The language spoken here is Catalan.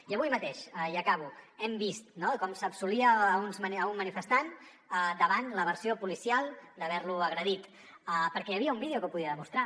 i avui mateix i acabo hem vist com s’absolia un manifestant davant la versió policial d’haver lo agredit perquè hi havia un vídeo que ho podia demostrar